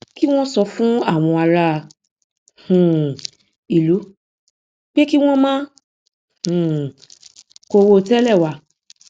kí wọn sọ fún àwọn ará um ìlú pé kí wọn má um kó owó tẹlẹ wá